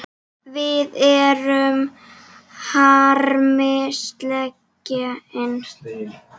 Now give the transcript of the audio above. Við erum harmi slegin.